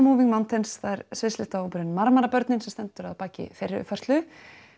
sviðlistahópurinn Marmarbörnin sem stendur að baki þeirri uppfærslu